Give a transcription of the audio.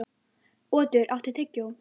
Otur, áttu tyggjó?